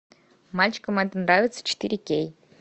мальчикам это нравится четыре кей